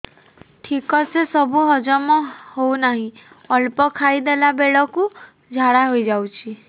ଠିକସେ ସବୁ ହଜମ ହଉନାହିଁ ଅଳ୍ପ ଖାଇ ଦେଲା ବେଳ କୁ ଝାଡା ହେଇଯାଉଛି